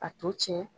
A to tiɲɛ